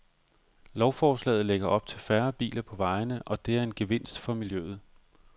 Lovforslaget lægger op til færre biler på vejene, og det er en gevinst for miljøet.